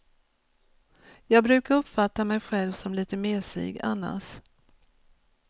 Jag brukar uppfatta mig själv som lite mesig annars.